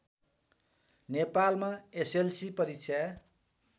नेपालमा एसएलसी परीक्षा